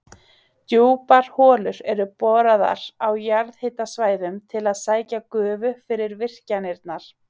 Djúpar holur eru boraðar á jarðhitasvæðum til að sækja gufu fyrir virkjanirnar.